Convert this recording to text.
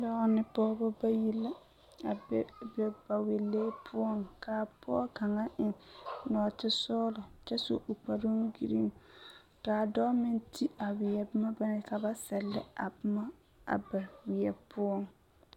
Dɔɔ ne pɔgba bayi la a be ba wɛlee poɔ kaa pɔge kaŋa eng noote sɔŋlɔ kyɛ su o kpare gireŋ , kaa dɔɔ meŋ ti a wiɛ boma ba naŋ yel ka ba sɛŋle a ba wiɛ poɔ